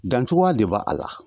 Dancogoya de b'a la